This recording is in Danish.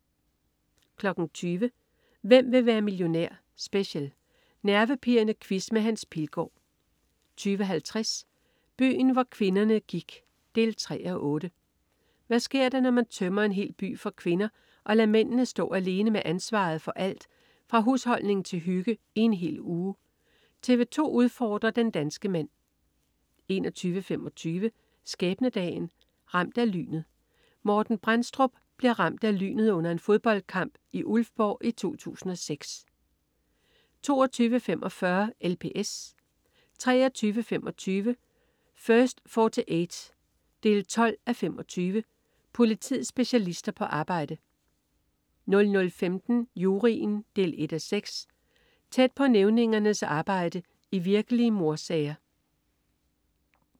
20.00 Hvem vil være millionær? Special. Nervepirrende quiz med Hans Pilgaard 20.50 Byen hvor kvinderne gik 3:8. Hvad sker der, når man tømmer en hel by for kvinder og lader mændene stå alene med ansvaret for alt fra husholdning til hygge i en hel uge? TV 2 udfordrer den danske mand 21.25 Skæbnedagen. Ramt af lynet. Morten Brændstrup bliver ramt af lynet under en fodboldkamp i Ulfborg i 2006 22.45 LPS 23.25 First 48 12:25. Politiets specialister på arbejde 00.15 Juryen 1:6. Tæt på nævningernes arbejde i virkelige mordsager